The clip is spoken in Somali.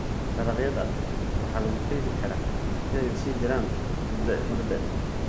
Dalagyada waxaa lagu kaydin karaa si ay u sii jiraan mudda dheer.